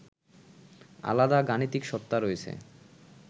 আলাদা গাণিতিক সত্তা রয়েছে